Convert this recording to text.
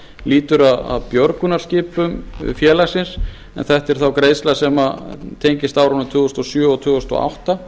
lýtur að björgunarskipum félagsins en þetta er þá greiðsla sem tengist árunum tvö þúsund og sjö og tvö þúsund og átta